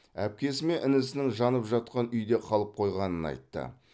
әпкесі мен інісінің жанып жатқан үйде қалып қойғанын айтты